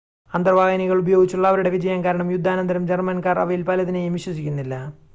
അന്തർവാഹിനികൾ ഉപയോഗിച്ചുള്ള അവരുടെ വിജയം കാരണം യുദ്ധാനന്തരം ജർമ്മൻകാർ അവയിൽ പലതിനെയും വിശ്വസിക്കുന്നില്ല